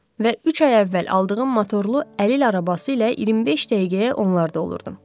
Və üç ay əvvəl aldığım motorlu əlil arabası ilə 25 dəqiqəyə onlarda olurdum.